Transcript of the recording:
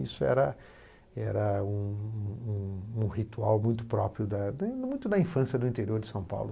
Isso era era um um ritual muito próprio da da infância do interior de São Paulo.